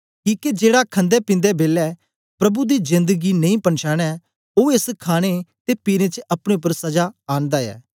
किके जेड़ा खंदेपींदे बेलै प्रभु दी जेंद गी नेई पनछांने ओ एस खाणे ते पीने च अपने उपर सजा आंनदा ऐ